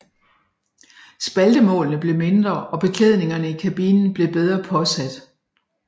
Spaltemålene blev mindre og beklædningerne i kabinen blev bedre påsat